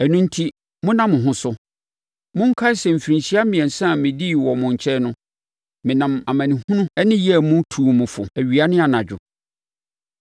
Ɛno enti, monna mo ho so! Monkae sɛ, mfirinhyia mmiɛnsa a medii wɔ mo nkyɛn no, menam amanehunu ne yea mu tuu mo fo awia ne anadwo.